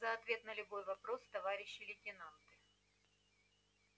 за ответ на любой вопрос товарищи лейтенанты